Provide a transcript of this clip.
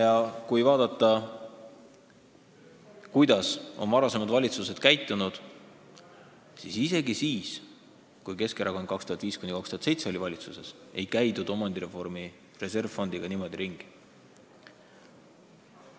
Ja kui vaadata, kuidas on varasemad valitsused käitunud, siis näeme, et isegi siis, kui Keskerakond oli aastail 2005–2007 valitsuses, ei käidud omandireformi reservfondiga niimoodi ringi.